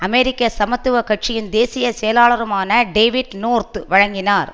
அமெரிக்க சமத்துவ கட்சியின் தேசிய செயலாளருமான டேவிட் நோர்த் வழங்கினார்